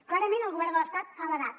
clarament el govern de l’estat ha badat